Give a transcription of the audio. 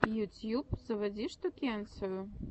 ютьюб заводи штукенцию